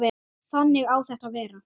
Þannig á þetta að vera.